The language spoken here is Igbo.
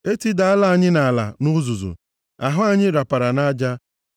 E tidala anyị nʼala, nʼuzuzu, ahụ anyị rapara nʼaja